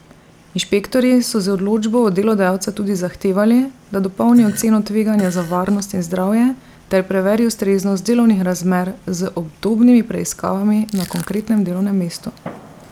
Inšpektorji so z odločbo od delodajalca tudi zahtevali, da dopolni oceno tveganja za varnost in zdravje ter preveri ustreznost delovnih razmer z obdobnimi preiskavami na konkretnem delovnem mestu.